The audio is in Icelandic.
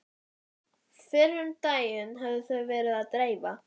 Fyrr um daginn höfðu þau verið að dreifa